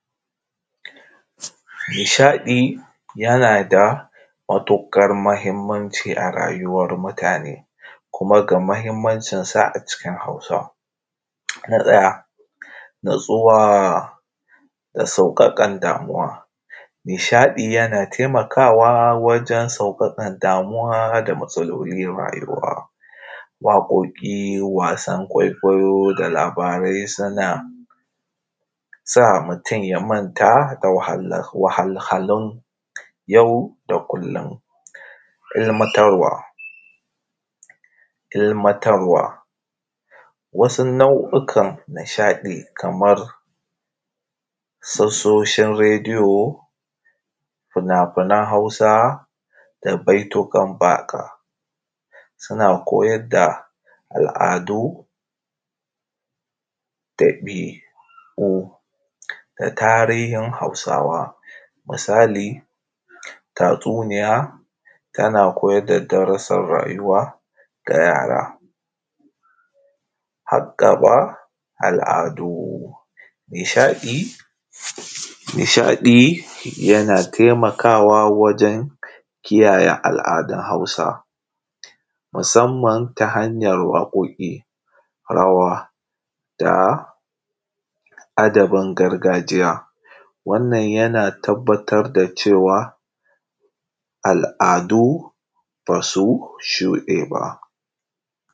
Nishaɗi yana da matuƙar muhimmaci a rayuwar mutane. Kuma ga muhimmancisa a cikin Hausa. Na ɗaya natsuwa, da sauƙaƙan damuwa. Nishaɗi yana taimawa wajen sauƙaƙan damuwa da matsalolin rayuwa. Waƙoƙi was an kwaikwayo da labarai suna, sa mutum ya manta da wahalhalun yau da kullum. Ilimatarwa, ilimatarwa wasu nau’ukan nishaɗi kamar su oshin rediyo, fina-finan Hausa da baituka baka. Suna koyar da al’adu da dabi’u, da tarihn Hausawa, misali tatsuniya tana koyar da darusan rayuwa ga yara, hag gaba al’adu. Nishaɗi nishaɗi yana taimawa wajen kiyayen al’adun Hausa musamman ta hanyar waƙoƙi, rawa da adabin gargajiya. Wannan yana tabbatar da cewa al’adu bas u shuɗe ba.